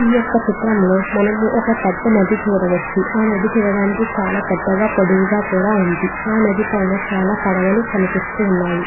ఈ యొక్క చిత్రంలో మనం ఒక పెద్ద నది చూడవచ్చు. ఆ నది చూడడానికి చాలా పెద్దగా పొడవుగా ఉంది. ఆ నది పైన చాలా పడవలు కనిపిస్తున్నాయి.